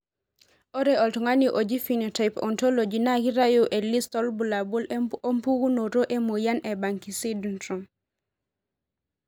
ore oltungani oji Phenotype Ontology na kitayu elist olbulabul opukunoto emoyian e Banki sydrome.